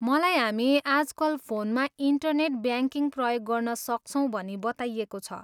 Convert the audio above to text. मलाई हामी आजकल फोनमा इन्टरनेट ब्याङ्किङ प्रयोग गर्न सक्छौँ भनी बताइएको छ।